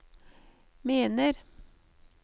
mener